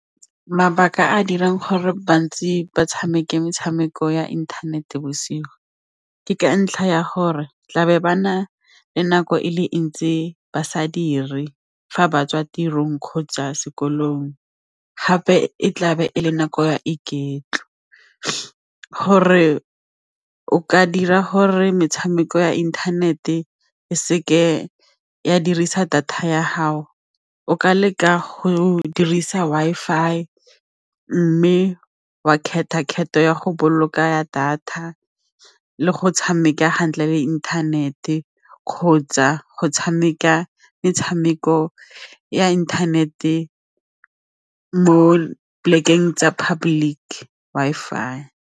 Mabaka a a dirang gore bantsi ba tshameke metshameko ya inthanete bosigo ke ka ntlha ya gore tlabe ba na le nako e le ntsi ba sa diri fa ba tswa tirong kgotsa sekolong gape e tla be e le nako ya iketlo. Gore o ka dira gore metshameko ya internet-e e seke ya dirisa data ya gago o ka leka go dirisa Wi-Fi mme wa ya go boloka data le go tshameka hantle le intanete kgotsa go tshameka metshameko ya internet-e mo plek-eng tsa public Wi-Fi.